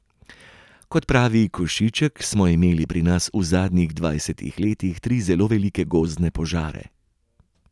Kot pravi Košiček, smo imeli pri nas v zadnjih dvajsetih letih tri zelo velike gozdne požare.